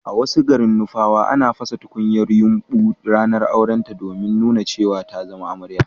a wasu garin nupawa, ana pasa tunkuyar yumbu ranar aurenta domin nuna cewa ta zama amarya